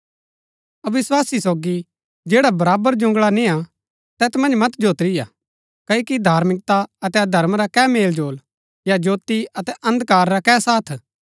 अविस्वासी सोगी जैड़ा बराबर जुंगळा निय्आ तैत मन्ज मत जोत्रिया क्ओकि धार्मिकता अतै अधर्म रा कै मेलजोल या ज्योती अतै अन्धकार रा कै साथ